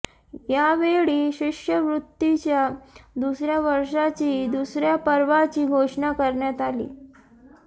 यावेळी शिष्यवृत्तीच्या दुसऱ्या वर्षाची दुसऱ्या पर्वाची घोषणा करण्यात आली